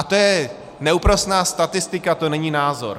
A to je neúprosná statistika, to není názor.